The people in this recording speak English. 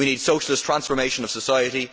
We need socialist transformation of society.